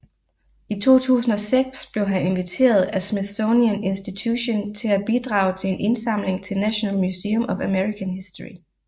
I 2006 blev han inviteret af Smithsonian Institution til at bidrage til en indsamling til National Museum of American History